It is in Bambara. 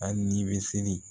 Hali ni bɛ seli